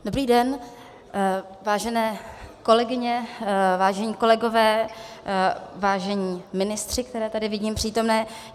Dobrý den, vážené kolegyně, vážení kolegové, vážení ministři, které tady vidím přítomné.